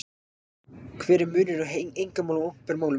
Hver er munurinn á einkamálum og opinberum málum?